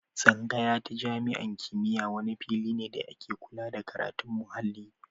Tsangaya ta jami'an kimiyya wani fili da ke kulla da karatun muhalli.